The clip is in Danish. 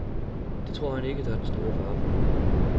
Det tror han ikke, der er den store fare for.